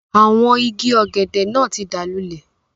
Àwọn igi ọ̀gẹ̀dẹ̀ náà tí dáa lúlẹ̀.